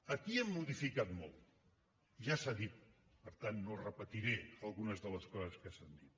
aquí hem modificat molt ja s’ha dit per tant no repetiré algunes de les coses que s’han dit